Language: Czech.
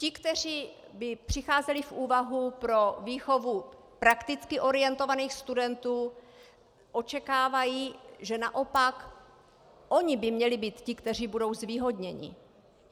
Ti, kteří by přicházeli v úvahu pro výchovu prakticky orientovaných studentů, očekávají, že naopak oni by měli být ti, kteří budou zvýhodněni.